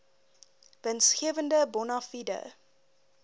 winsgewende bona fide